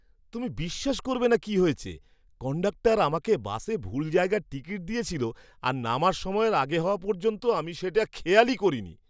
তুমি বিশ্বাস করবে না কি হয়েছে! কন্ডাক্টর আমাকে বাসে ভুল জায়গার টিকিট দিয়েছিল আর নামার সময়ের আগে হওয়া পর্যন্ত আমি সেটা খেয়াল করিনি!